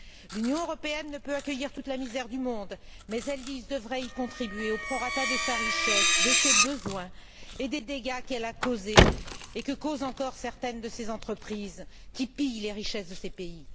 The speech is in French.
L'Union européenne ne peut accueillir toute la misère du monde, mais elle devrait y contribuer au prorata de sa richesse, de ses besoins et des dégâts qu'elle a causés et que causent encore certaines de ses entreprises, qui pillent les richesses de ces pays.